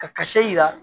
Ka ka se